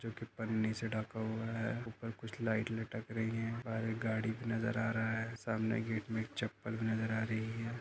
जो की पन्नी से ढका हुआ हैं। ऊपर कुछ लाइट लटक रही हैं। बाहर एक गाड़ी नजर आ रहा हैं। सामने गेट में एक चप्पल नजर आ रही हैं।